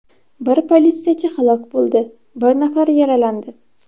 Bir politsiyachi halok bo‘ldi, bir nafari yaralandi.